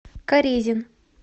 карезин